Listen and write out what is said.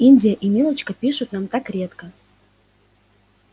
индия и милочка пишут нам так редко